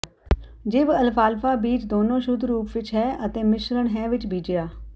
ਿਜਵਅਲਫਾਲਫਾ ਬੀਜ ਦੋਨੋ ਸ਼ੁੱਧ ਰੂਪ ਵਿੱਚ ਹੈ ਅਤੇ ਮਿਸ਼ਰਣ ਹੈ ਵਿੱਚ ਬੀਜਿਆ